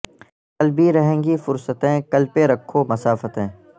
کل بھی رہیں گی فرصتیں کل پہ رکھو مسافتیں